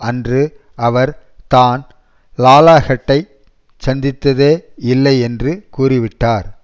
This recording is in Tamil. அன்று அவர் தான் லாலாஹெட்டைச் சந்தித்தே இல்லை என்று கூறிவிட்டார்